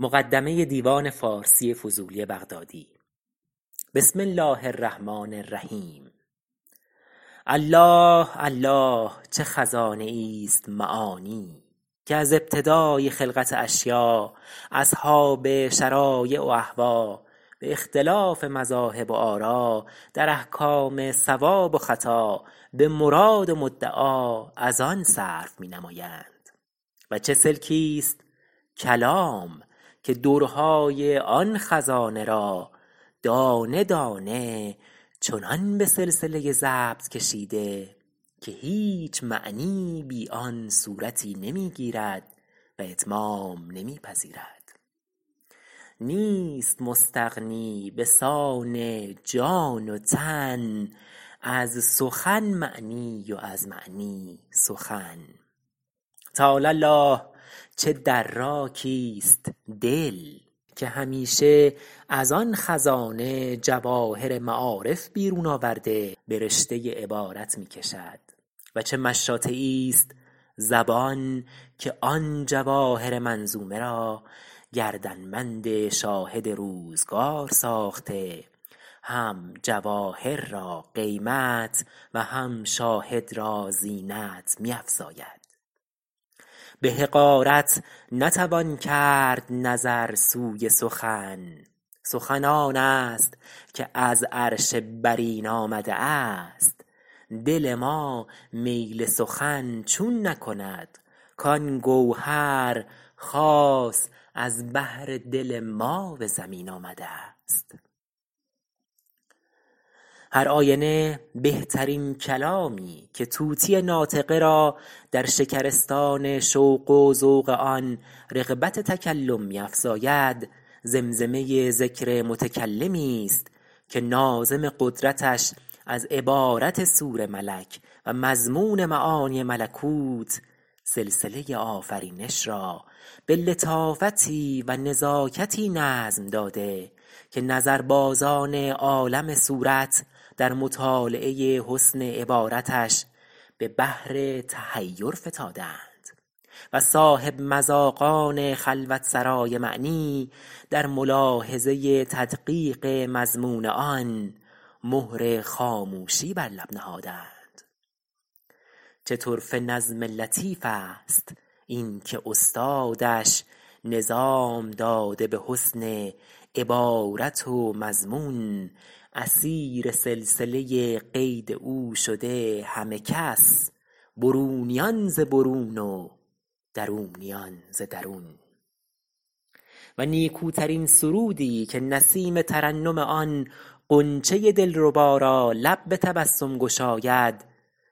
الله الله چه خزانه ای است معانی که از ابتداء خلقت اشیاء اصحاب شرایع و اهوا به اختلاف مذاهب و آرا در احکام صواب و خطا به مراد و مدعا از آن صرف می نمایند و چه سلکی است کلام که درهای آن خزانه را دانه دانه چنان به سلسله ضبط کشیده که هیچ معنی بی آن صورتی نمی‏‎گیرد و اتمام نمی پذیرد نیست مستغنی به سان جان و تن از سخن معنی و از معنی سخن تعالی الله چه دراکی است دل که همیشه از آن خزانه جواهر معارف بیرون آورده به رشته عبارت می کشد و چه مشاطه ای است زبان که آن جواهر منظومه را گردنبند شاهد روزگار ساخته هم جواهر را قیمت و هم شاهد را زینت می افزاید به حقارت نتوان کرد نظر سوی سخن سخن آن است که از عرش برین آمده است دل ما میل سخن چون نکند کان گوهر خاص ا ز بهر دل ما به زمین آمده است هر آینه بهترین کلامی که طوطی ناطقه را در شکرستان شوق و ذوق آن رغبت تکلم می افزاید زمزمه ذکر متکلمی است که ناظم قدرتش از عبارت صور ملک و مضمون معانی ملکوت سلسله آ فرینش را به لطافتی و نزاکتی نظم داده که نظربازان عالم صورت در مطالعه حسن عبارتش به بحر تحیر فتاده اند و صاحب مذاقان خلوتسرای معنی در ملاحظه تدقیق مضمون آن مهر خاموشی بر لب نهاده ا ند چه طرفه نظم لطیف است این که استادش نظام داده به حسن عبا رت و مضمون اسیر سلسه قید او شده همه کس برونیان ز برون و درونیان ز درون و نیکوترین سرودی که نسیم ترنم آن غنچه دلربا را لب به تبسم گشاید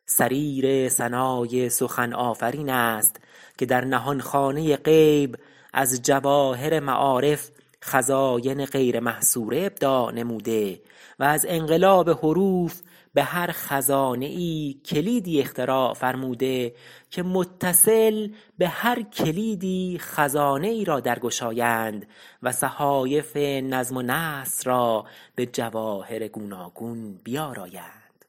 صریر ثنای سخن آفرین است که در نهانخانه غیب از جواهر معارف خزاین غیر محصوره ابداع نموده و از انقلاب حروف به هر خزانه ای کلیدی اختراع فرموده که متصل به هر کلیدی خزانه ای را در گشایند و صحایف نظم و نثر را به جواهر گوناگون بیارایند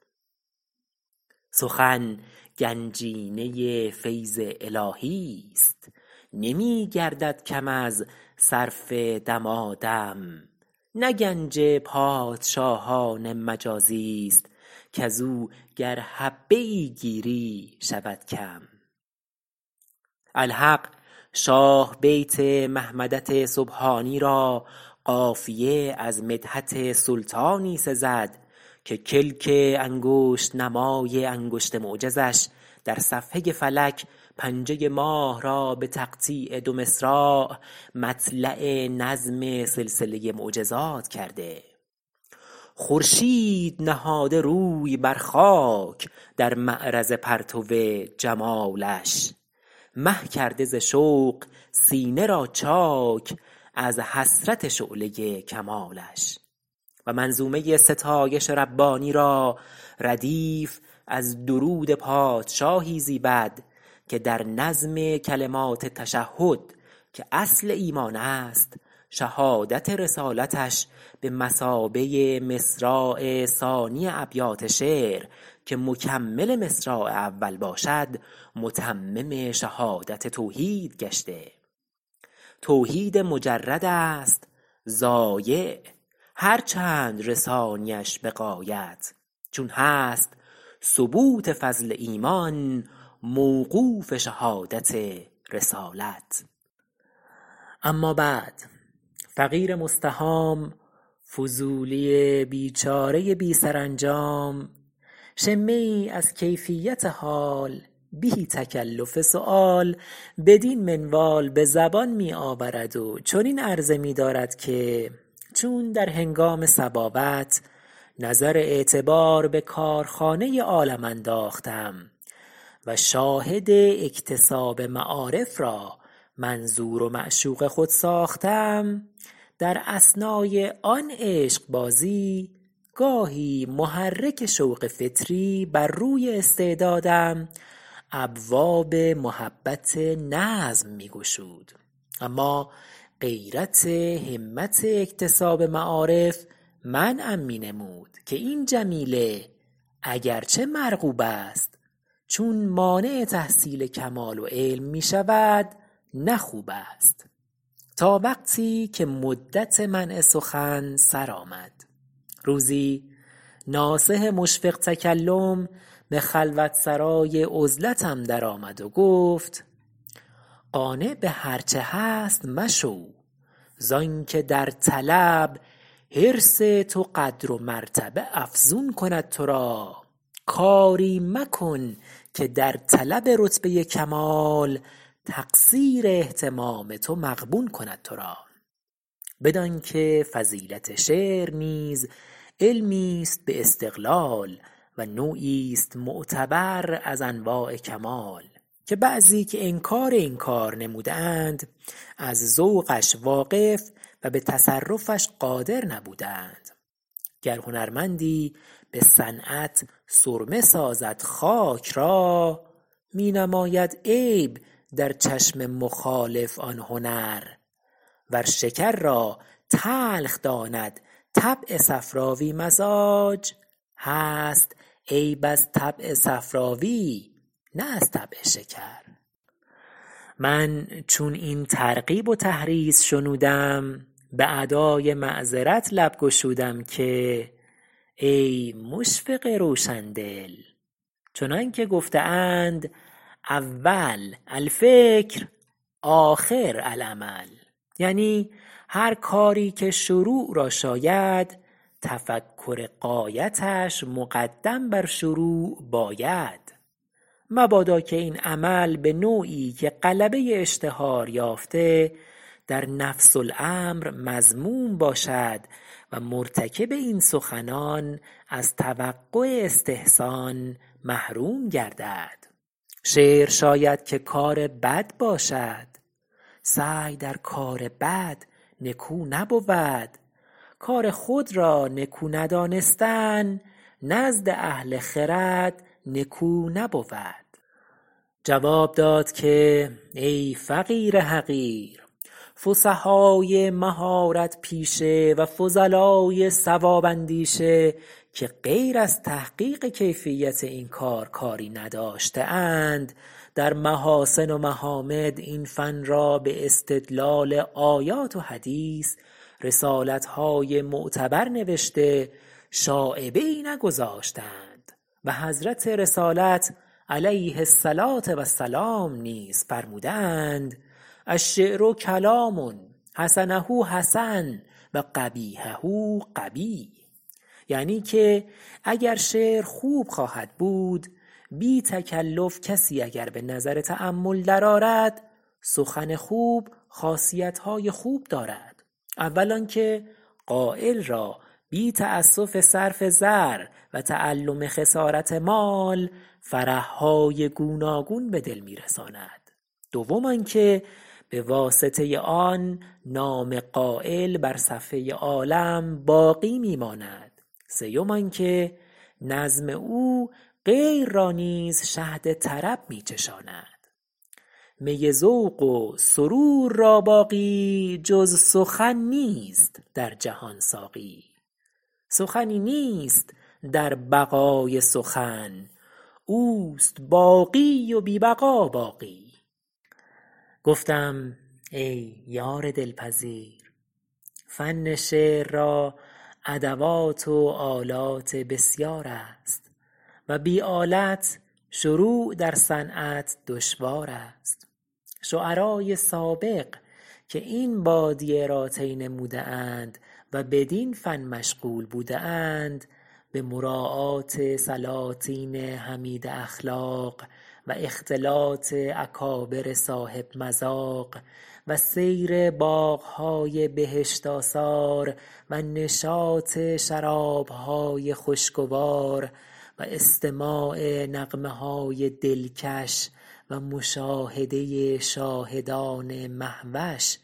سخن گنجینه فیض الهی است نمی گردد کم از صرف دما دم نه گنج پادشاهان مجازی است کز او گر حبه ای گیری شود کم الحق شاه بیت محمدت سبحانی را قافیه از مدحت سلطانی سزد که کلک انگشت نمای انگشت معجزش در صفحه فلک پنجه ماه را به تقطیع دو مصراع مطلع نظم سلسله معجزات کرده خورشید نهاده روی بر خاک در معرض پرتو جمالش مه کرده ز شوق سینه را چاک از حسرت شعله کمالش و منظومه ستایش ربانی را ردیف از درود پادشاهی زیبد که در نظم کلمات تشهد که اصل ایمان است شهادت رسالتش به مثابه مصراع ثانی ابیات شعر که مکمل مصراع اول باشد متمم شهادت توحید گشته توحید مجرد است ضایع هر چند رسانیش به غایت چون هست ثبوت فضل ایمان موقوف شهادت رسالت صل اللهم علی صاحب الرسالة و سلم علی آله العظام و اصحابه الکرام الذین حملة الاعلام الدین و نقلة شرح احکام الشرع المبین رضوان الله تعالی علیم اجمعین اما بعد فقیر مستهام فضولی بیچاره بی سرانجام شمه ای از کیفیت حال بی تکلف سؤال بدین منوال به زبان می آورد و چنین عرضه می دارد که چون در هنگام صباوت نظر اعتبار به کارخانه عالم انداختم و شاهد اکتساب معارف را منظور و معشوق خود ساختم در اثنای آن عشقبازی گاهی محرک شوق فطری بر روی استعدادم ابواب محبت نظم می گشود اما غیرت همت اکتساب معارف منعم می نمود که این جمیله اگر چه مرغوب است چون مانع تحصیل کمال و علم می شود نه خوب است تا وقتی که مدت منع سخن سرآمد روزی ناصح مشفق تکلم به خلوتسرای عزلتم در آمد و گفت قانع به هر چه هست مشو زآن که در طلب حرص تو قدر و مرتبه افزون کند تو را کاری مکن که در طلب رتبه کمال تقصیر اهتمام تو مغبون کند تو را بدان که فضیلت شعر نیز علمی است به استقلال و نوعی است معتبر از انواع کمال که بعضی که انکار این کار نموده اند از ذوقش واقف و به تصرفش قادر نبوده اند گر هنرمندی به صنعت سرمه سازد خاک را می نماید عیب در چشم مخالف آن هنر ور شکر را تلخ داند طبع صفراوی مزاج هست عیب از طبع صفراوی نه از طبع شکر من چون این ترغیب و تحریض شنودم به ادای معذرت لب گشودم که ای مشفق روشن دل چنان گفته اند اول الفکر آخر العمل یعنی هر کاری که شروع را شاید تفکر غایتش مقدم بر شروع باید مبادا که این عمل به نوعی که غلبه اشتهار یافته در نفس الامر مذموم باشد و مرتکب این سخنان از توقع استحسان محروم گردد شعر شاید که کار بد باشد سعی در کار بد نکو نبود کار خود را نکو ندانستن نزد اهل خرد نکو نبود جواب داد که ای فقیر حقیر فصحای مهارت پیشه و فضلای صواب اندیشه که غیر از تحقیق کیفیت این کار کاری نداشته اند در محاسن و محامد این فن را به استدلال آیات و حدیث رسالت های معتبر نوشته شایبه ای نگذاشته اند و حضرت رسالت - علیه الصلاة و السلام - نیز فرموده اند الشعر کلام حسنه حسن و قبیحه قبیح یعنی که اگر شعر خوب خواهد بود بی تکلف کسی اگر به نظر تأمل در آرد سخن خوب خاصیت های خوب دارد اول آن که قایل را بی تأسف صرف زر و تألم خسارت مال فرح های گوناگون به دل می رساند دوم آن که به واسطه آن نام قایل بر صفحه عالم باقی می ماند سیوم آن که نظم او غیر را نیز شهد طرب می چشاند می ذوق و سرور را باقی جز سخن نیست در جهان ساقی سخنی نیست در بقای سخن اوست باقی و بی بقا باقی گفتم ای یار دلپذیر فن شعر را ادوات و آلات بسیار است و بی آلت شروع در صنعت دشوار است شعرای سابق که این بادیه را طی نموده اند و بدین فن مشغول بوده اند به مراعات سلاطین حمیده اخلاق و اختلاط اکابر صاحب مذاق و سیر باغ های بهشت آثار و نشاط شراب های خوشگوار و استماع نغمه های دلکش و مشاهده شاهدان مهوش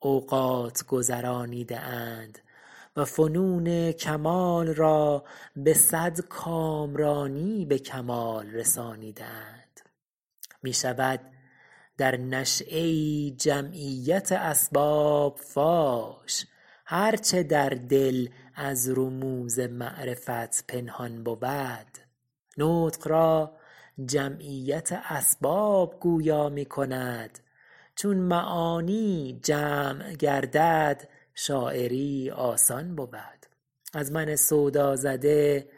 اوقات گذرانیده اند و فنون کمال را به صد کامرانی به کمال رسانیده اند می شود در نشیه ای جمعیت اسباب فاش هر چه در دل از رموز معرفت پنهان بود نطق را جمعیت اسباب گویا می کند چون معانی جمع گردد شاعری آسان بود از من سودا زده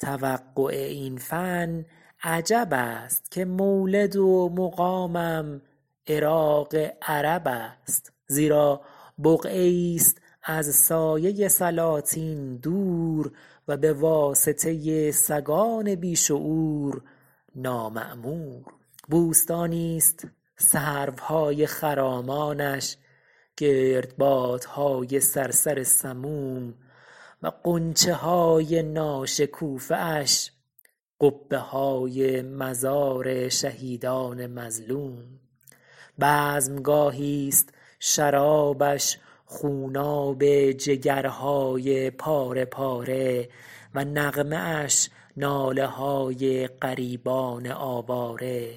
توقع این فن عجب است که مولد و مقامم عراق عرب است زیرا بقعه ای است از سایه سلاطین دور و به واسطه سگان بی شعور نامعمور بوستانی است سروهای خرامانش گردبادهای صرصر سموم و غنچه های ناشکوفه اش قبه های مزار شهیدان مظلوم بزمگاهی است شرابش خوناب جگرهای پاره پاره و نغمه اش ناله های غریبان آواره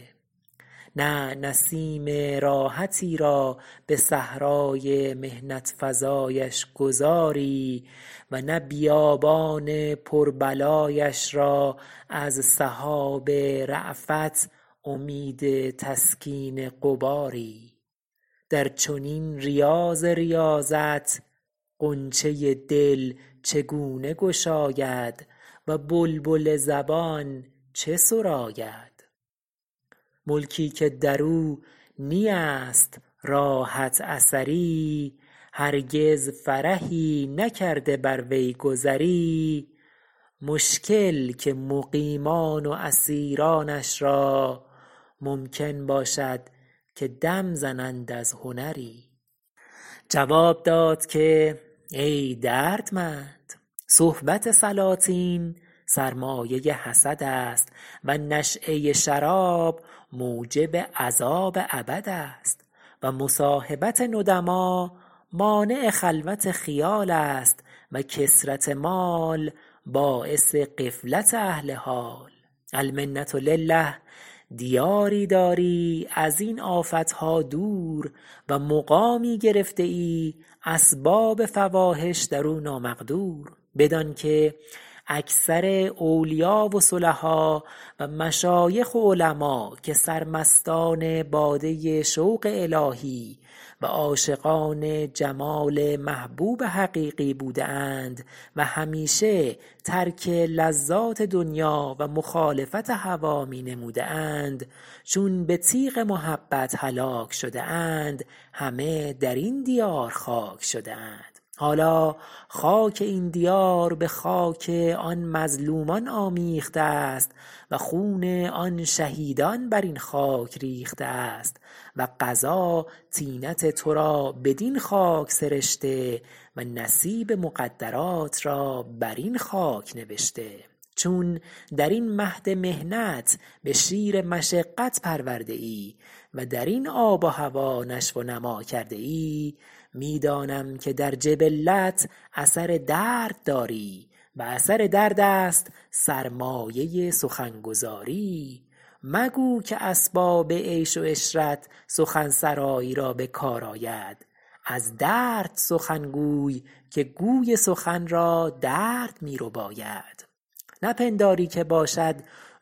نه نسیم راحتی را به صحرای محنت فزایش گذاری و نه بیابان پر بلایش را از سحاب رأفت امید تسکین غباری در چنین ریاض ریاضت غنچه دل چگونه گشاید و بلبل زبان چه سراید ملکی که درو نی است راحت اثری هرگز فرحی نکرده بر وی گذری مشکل که مقیما ن و اسیرانش را ممکن باشد که دم زنند از هنری جواب داد که ای دردمند صحبت سلاطین سرمایه حسد است و نشیه شراب موجب عذاب ابد است و مصاحبت ندما مانع خلوت خیال است و کثرت مال باعث غفلت اهل حال المنة لله دیاری داری از این آفت ها دور و مقامی گرفته ای اسباب فواحش در او نامقدور بدان که اکثر اولیا و صلحا و مشایخ و علما که سرمستان باده شوق الهی و عاشقان جمال محبوب حقیقی بوده اند و همیشه ترک لذات دنیا و مخالفت هوا می نموده اند چون به تیغ محبت هلاک شده اند همه در این دیار خاک شده اند حالا خاک این دیار به خاک آن مظلومان آمیخته است و خون آن شهیدان بر این خاک ریخته است و قضا طینت تو را بدین خاک سرشته و نصیب مقدرات را بر این خاک نوشته چون در این مهد محنت به شیر مشقت پرورده ای و در این آب و هوا نشو و نما کرده ای می دانم که در جبلت اثر درد داری و اثر درد است سرمایه سخن گذاری مگو که اسباب عیش و عشرت سخن سرایی را به کار آید از درد سخن گوی که گوی سخن را درد می رباید نپنداری که باشد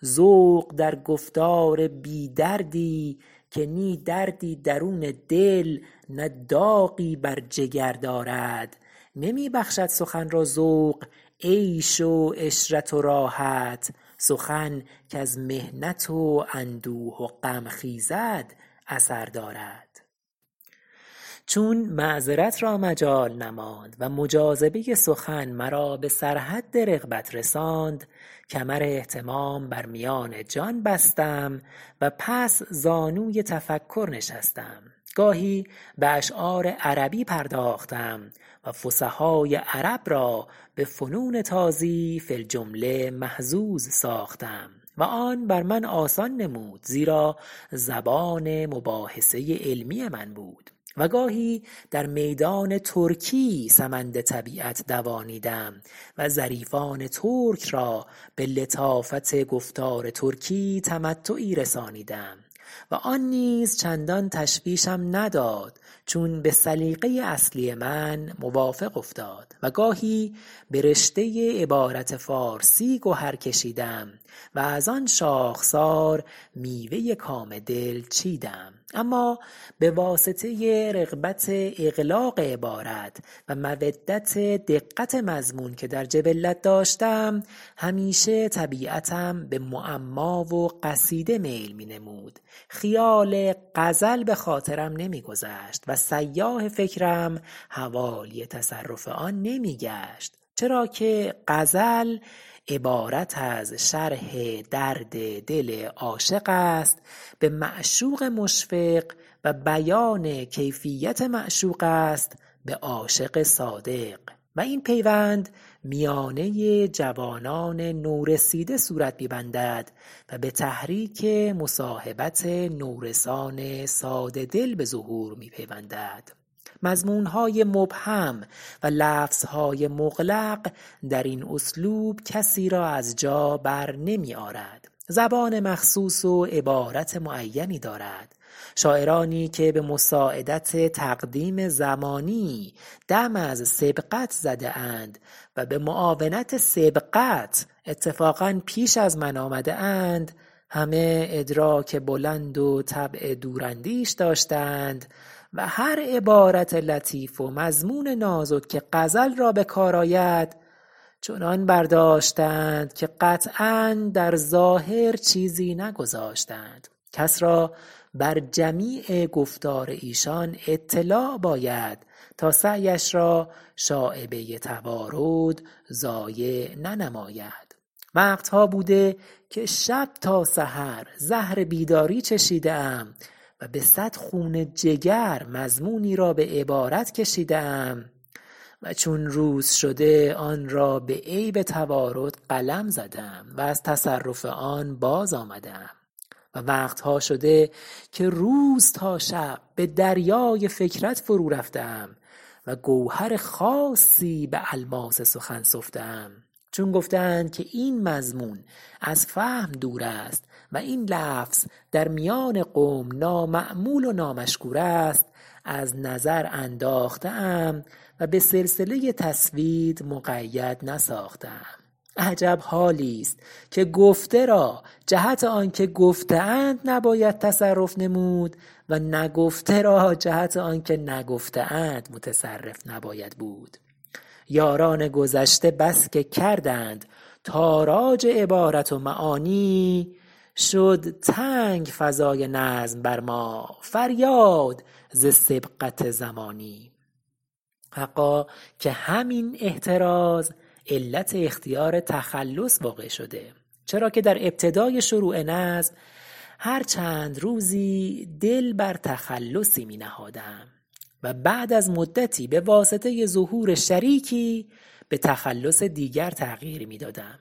ذوق در گفتار بی دردی که نی دردی درون دل نه داغی بر جگر دا رد نمی بخشد سخن را ذوق عیش و عشرت و راحت سخن کز محنت و اندوه و غم خیزد اثر دارد چون معذرت را مجال نماند و مجاذبه سخن مرا به سر حد رغبت رساند کمر اهتمام بر میان جان بستم و پس زانوی تفکر نشستم گاهی به اشعار عربی پرداختم و فصحای عرب را به فنون تازی فی الجمله محظوظ ساختم و آن بر من آسان نمود زیرا زبان مباحثه علمی من بود و گاهی در میدان ترکی سمند طبیعت دوانیدم و ظریفان ترک را به لطافت گفتار ترکی تمتعی رسانیدم آن نیز چندان تشویشم نداد چون به سلیقه اصلی من موافق افتاد و گاهی به رشته عبارت فارسی گهر کشیدم و از آن شاخسار میوه کام دل چیدم اما به واسطه رغبت اغلاق عبارت و مودت دقت مضمون که در جبلت داشتم همیشه طبیعتم به معما و قصیده میل می نمود خیال غزل به خاطرم نمی گذشت و سیاح فکرم حوالی تصرف آن نمی گشت چرا که غزل عبارت از شرح درد دل عاشق است به معشوق مشفق و بیان کیفیت معشوق است به عاشق صادق و این پیوند میانه جوانان نو رسیده صورت می بندد و به تحریک مصاحبت نورسان ساده دل به ظهور می پیوندد مضمون های مبهم و لفظ های مغلق در این اسلوب کسی را از جا بر نمی آرد زبان مخصوص و عبارت معینی دارد شاعرانی که به مساعدت تقدیم زمانی دم از سبقت زده اند و به معاونت سبقت اتفاقا پیش از من آمده اند همه ادراک بلند و طبع دوراندیش داشته اند و هر عبارت لطیف و مضمون نازک که غزل را به کار آید چنان برداشته اند که قطعا در ظاهر چیزی نگذاشته اند کس را بر جمیع گفتار ایشان اطلاع باید تا سعیش را شایبه توارد ضایع ننماید وقت ها بوده که شب تا سحر زهر بیداری چشیده ام و به صد خون جگر مضمونی را به عبارت کشیده ام و چون روز شده آن را به عیب توارد قلم زده ام و از تصرف آن باز آمده ام و وقت ها شده که روز تا شب به دریای فکرت فرو رفته ام و گوهر خاصی به الماس سخن سفته ام چون گفته اند که این مضمون از فهم دور است و این لفظ در میان قوم نامعمول و نامشکور است از نظر انداخته ام و به سلسله تسوید مقید نساخته ام عجب حالی است که گفته را جهت آن که گفته اند نباید تصرف نمود و نگفته را جهت آن که نگفته اند متصرف نباید بود یاران گذشته بس که کردند تاراج عبارت و معانی شد تنگ فضای نظم بر ما فریاد ز سبقت زمانی حقا که همین احتراز علت اختیار تخلص واقع شده چرا که در ابتدای شروع نظم هر چند روزی دل بر تخلصی می نهادم و بعد از مدتی به واسطه ظهور شریکی به تخلص دیگر تغییر می دادم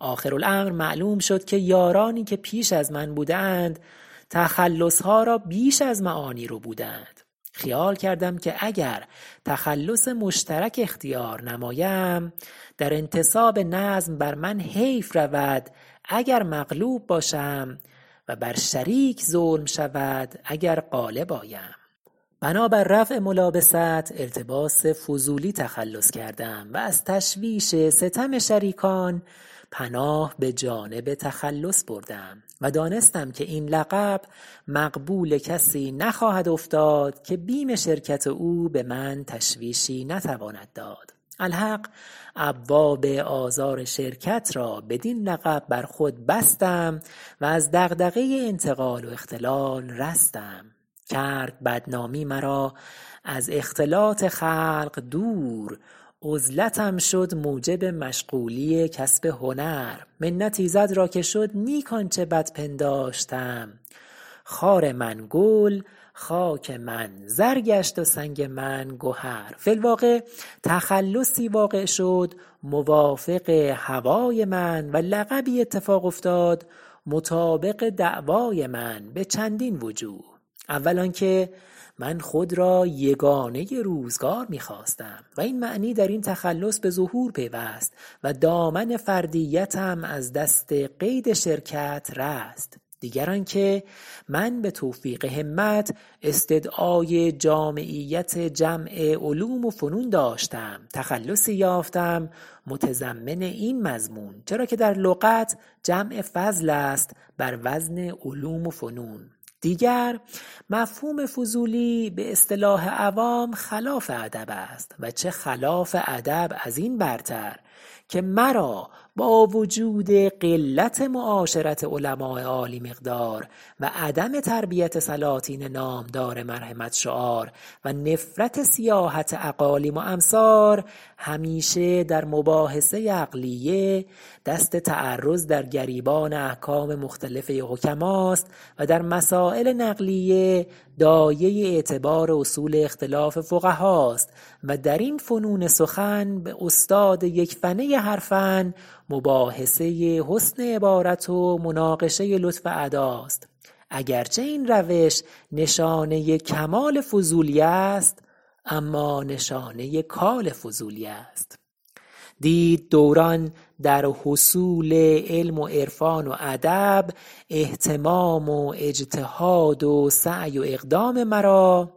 آخر الامر معلوم شد که یارانی که پیش از من بوده اند تخلص ها را بیش از معانی ربوده اند خیال کردم که اگر تخلص مشترک اختیار نمایم در انتساب نظم بر من حیف رود اگر مغلوب باشم و بر شریک ظلم شود اگر غالب آیم بنابر رفع ملابست التباس فضولی تخلص کردم و از تشویش ستم شریکان پناه به جانب تخلص بردم و دانستم که این لقب مقبول کسی نخواهد افتاد که بیم شرکت او به من تشویشی نتواند داد الحق ابواب آزار شرکت را بدین لقب بر خود بستم و از دغدغه انتقال و اختلال رستم کرد بدنامی مرا از ا ختلاط خلق دور عزلتم شد موجب مشغولی کسب هنر منت ایزد را که شد نیک آنچه بد پنداشتم خار من گل خاک من زر گشت و سنگ من گهر فی الوقع تخلصی وا قع شد موافق هوای من و لقبی اتفاق افتاد مطابق دعوای من به چندین وجوه اول آن که من خود را یگانه روزگار می خواستم و این معنی در این تخلص به ظهور پیوست و دامن فردیتم از دست قید شرکت رست دیگر آن که من به توفیق همت استدعای جامعیت جمع علوم و فنون داشتم تخلصی یافتم متضمن این مضمون چرا که در لغت جمع فضل است بر وزن علوم و فنون دیگر مفهوم فضولی به اصطلاح عوام خلاف ادب است و چه خلاف ادب از این برتر که مرا با وجود قلت معاشرت علماء عالی مقدار و عدم تربیت سلاطین نامدار مرحمت شعار و نفرت سیاحت اقالیم و امصار همیشه در مباحثه عقلیه دست تعرض در گریبان احکام مختلفه حکماست و در مسایل نقلیه داعیه اعتبار اصول اختلاف فقهاست و در این فنون سخن به استاد یک فنه هر فن مباحثه حسن عبارت و مناقشه لطف اداست اگر چه این روش نشانه کمال فضولی است اما نشانه کال فضولی است دید دوران در حصول علم و عرفان و ادب اهتمام و اجتهاد و سعی و اقدام مرا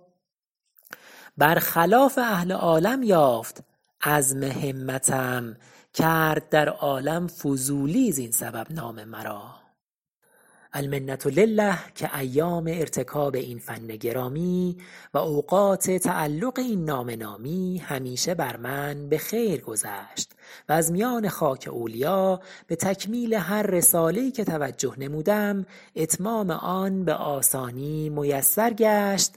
بر خلاف ا هل عالم یافت عزم همتم کرد در عالم فضولی زین سبب نام مرا المنة لله که ایام ارتکاب این فن گرامی و اوقات تعلق این نام نامی همیشه بر من به خیر گذشت و از میان خاک اولیا به تکمیل هر رساله ای که توجه نمودم اتمام آن به آسانی میسر گشت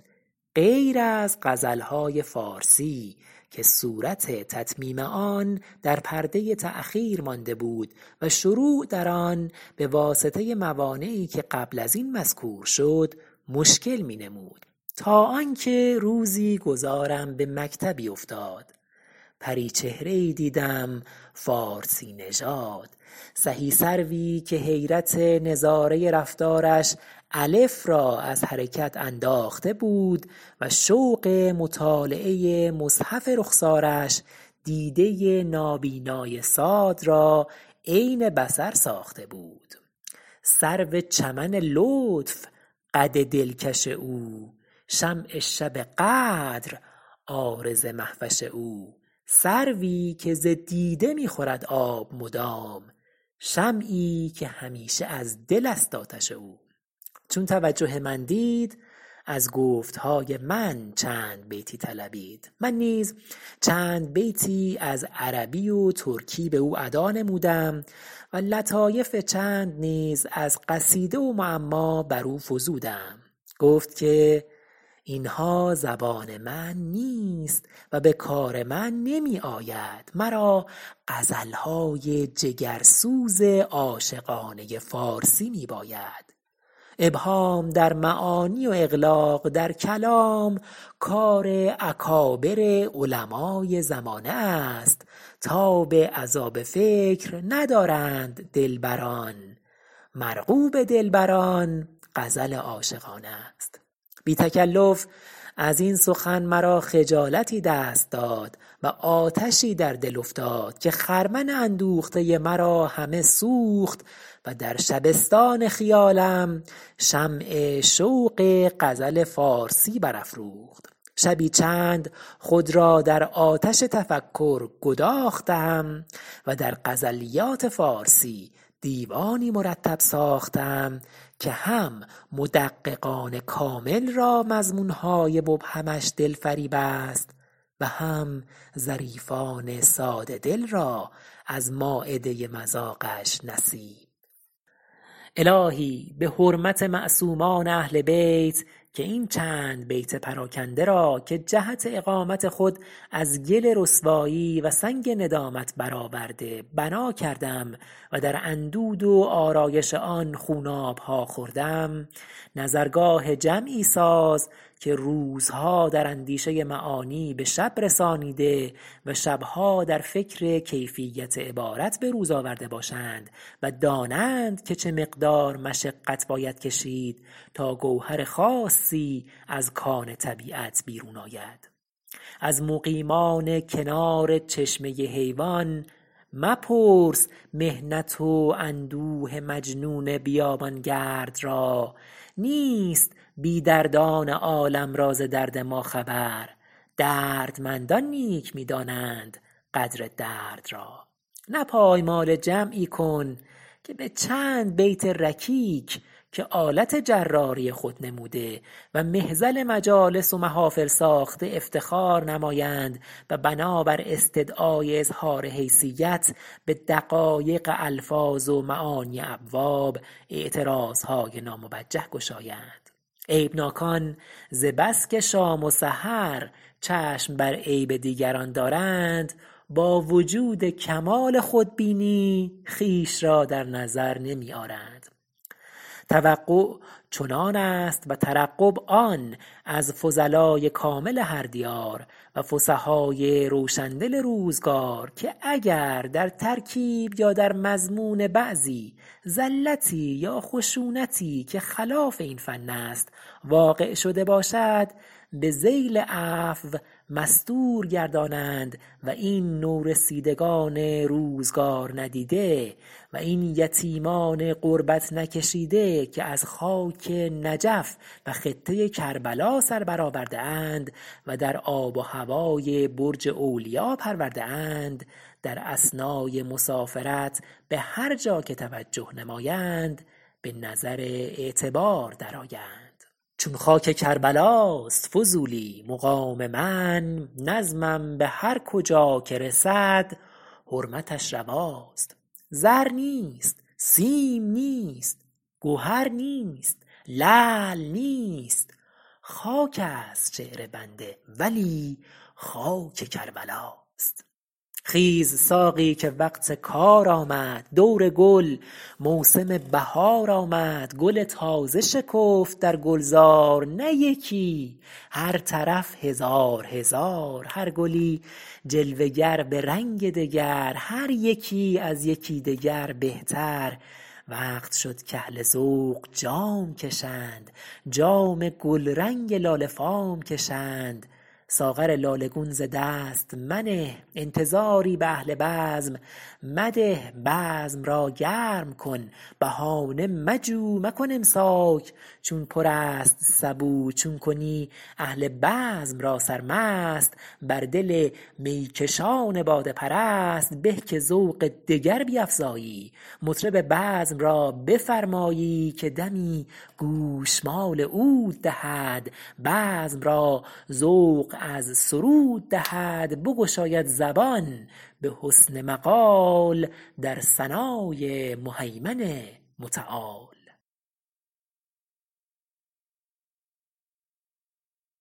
غیر از غزل های فارسی که صورت تتمیم آن در پرده تأخیر مانده بود و شروع در آن بواسطه موانعی که قبل از این مذکور شد مشکل می نمود تا آن که روزی گذارم به مکتبی افتاد پرپچهره ای دیدم فارسی نژاد سهی سروی که حیرت نظاره رفتارش الف را از حرکت انداخته بود و شوق مطالعه مصحف رخسارش دیده نابینای صاد را عین بصر ساخته بود سرو چمن لطف قد دلکش او شمع شب قدر عارض مهوش او سروی که ز دیده می خورد آب مدام شمعی که همیشه از دل است آتش او چون توجه من دید از گفت های من چند بیتی طلبید من نیز چند بیتی از عربی و ترکی به او ادا نمودم و لطایف چند نیز از قصیده و معما بر او فزودم گفت که این ها زبان من نیست و به کار من نمی آید مرا غزل های جگرسوز عاشقانه فارسی می باید ابهام در معانی و اغلاق در کلام کار اکابر علمای زمانه است تاب عذاب فکر ندارند دلبران مرغوب دلبران غزل عاشقانه است بی تکلف از این سخن مرا خجالتی دست داد و آتشی در دل افتاد که خرمن اندوخته مرا همه سوخت و در شبستان خیالم شمع شوق غزل فارسی بر افروخت شبی چند خود را در آتش تفکر گداختم و در غزلیات فارسی دیوانی مرتب ساختم که هم مدققان کامل را مضمون های مبهمش دل فریب است و هم ظریفان ساده دل را از مایده مذاقش نصیب الهی به حرمت معصومان اهل بیت که این چند بیت پراکنده را که جهت اقامت خود از گل رسوایی و سنگ ندامت بر آورده بنا کردم و در اندود و آرایش آن خوناب ها خوردم نظرگاه جمعی ساز که روزها در اندیشه معانی به شب رسانیده و شب ها در فکر کیفیت عبارت به روز آورده باشند و دانند که چه مقدار مشقت باید کشید تا گوهر خاصی از کان طبیعت بیرون آید از مقیمان کنار چشمه حیوان مپرس محنت و اندوه مجنون بیابان گرد را نیست بی دردان عالم را ز درد ما خبر دردمندان نیک می دانند قدر درد را نه پایمال جمعی کن که به چند بیت رکیک که آلت جراری خود نموده و مهزل مجالس و محافل ساخته افتخار نمایند و بنابر استدعای اظهار حیثیت به دقایق الفاظ و معانی ابواب اعتراض های ناموجه گشایند عیب ناکان ز بس که شام و سحر چشم بر عیب دیگران دارند با وجود کمال خودبینی خویش را در نظر نمی آرند توقع چنان است و ترقب آن از فضلای کامل هر دیار و فصحای روشن دل روزگار که اگر در ترکیب یا در مضمون بعضی زلتی یا خشونتی که خلاف این فن است واقع شده باشد به ذیل عفو مستور گردانند و این نورسیدگان روزگار ندیده و این یتیمان غربت نکشیده که از خاک نجف و خطه کربلا سر بر آورده اند و در آب و هوای برج اولیا پرورده اند در اثنای مسافرت به هر جا که توجه نمایند به نظر اعتبار درآیند چون خاک کربلاست فضولی مقام من نظمم به هر کجا که رسد حرمتش رواست زر نیست سیم نیست گهر نیست لعل نیست خاک است شعر بنده ولی خاک کربلاست خیز ساقی ‏که وقت کار آمد دور گل موسم بهار آمد گل تازه شکفت در گلزار نه یکی‏ هر طرف هزار هزار هر گلی جلوه گر به رنگ دگر هر یکی‏ از یکی دگر بهتر وقت شد کاهل ذوق جام‏ کشند جام گلرنگ لاله فام‏ کشند ساغر لاله‏ گون ز دست منه انتظاری به اهل بزم مده‏ بزم را گرم‏ کن‏ بهانه مجو مکن‏ امساک چون پر است سبو چون‏ کنی‏ اهل بزم را سرمست‏ بر دل می‏ کشان باده پرست‏ به ‏که ذوق دگر بیفزایی‏ مطرب بزم را بفرمایی‏ که‏ دمی‏ گوشمال عود دهد بزم را ذوق از سرود دهد بگشاید زبان به حسن مقال در ثنای مهیمن متعال